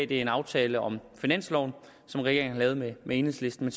det er en aftale om finansloven som regeringen har lavet med enhedslisten